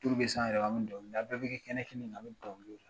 bɛ se an yɛrɛ ma an bɛ dɔnkili da an bɛɛ bɛ kɛ kɛnɛ kan an bɛ dɔnkili da